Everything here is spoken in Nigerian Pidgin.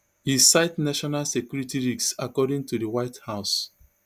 e cite national security risks according to di white house